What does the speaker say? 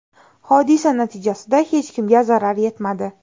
Hodisa natijasida hech kimga jiddiy zarar yetmadi.